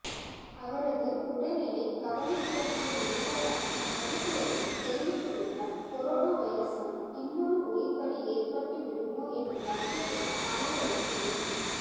அவரது உடல்நிலை கவலைக்கிடமாக இருப்பதாக மருத்துவர்கள் தெரிவித்துள்ளதால் கொரோனா வைரசால் இன்னொரு உயிர்ப்பலி ஏற்பட்டுவிடுமோ என்ற அச்சத்தினால் அனைவரும் உள்ளனர்